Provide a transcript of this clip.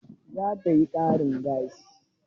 Za ta yi ƙarin gashin?